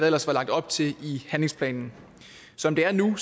ellers var lagt op til i handlingsplanen som det er nu